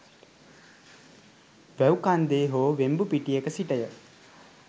වැව් කන්දේ හෝ වෙම්බුපිටියක සිටය.